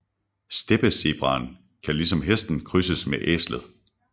Steppezebraen kan ligesom hesten krydses med æslet